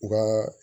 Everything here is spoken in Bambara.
U ka